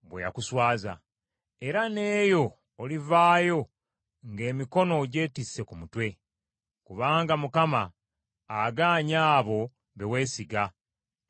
Era n’eyo olivaayo ng’emikono ogyetisse ku mutwe, kubanga Mukama agaanye abo be weesiga; tagenda kukuyamba.